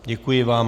Děkuji vám.